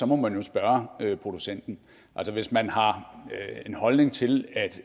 må man jo spørge producenten hvis man har en holdning til